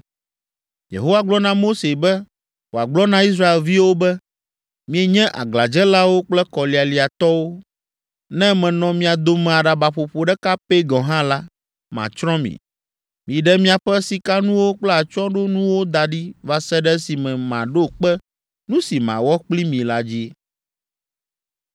Yehowa gblɔ na Mose be wòagblɔ na Israelviawo be, “Mienye aglãdzelawo kple kɔlialiatɔwo. Ne menɔ mia dome aɖabaƒoƒo ɖeka pɛ gɔ̃ hã la, matsrɔ̃ mi. Miɖe miaƒe sikanuwo kple atsyɔ̃ɖonuwo da ɖi va se ɖe esime maɖo kpe nu si mawɔ kpli mi la dzi.”